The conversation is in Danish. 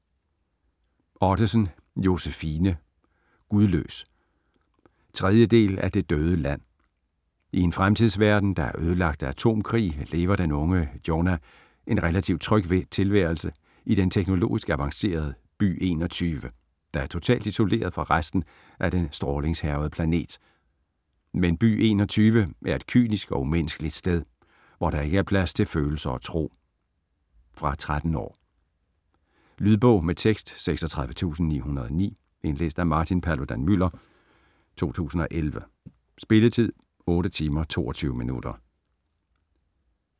Ottesen, Josefine: Gudløs 3. del af Det døde land. I en fremtidsverden, der er ødelagt af atomkrig, lever den unge Jonah en relativ tryg tilværelse i den teknologisk avancerede By 21, der er totalt isoleret fra resten af den strålingshærgede planet. Men By 21 er et kynisk og umenneskeligt sted, hvor der ikke er plads til følelser og tro. Fra 13 år. Lydbog med tekst 36909 Indlæst af Martin Paludan-Müller, 2011. Spilletid: 8 timer, 22 minutter.